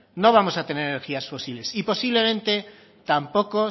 no vamos a tener energías fósiles y posiblemente tampoco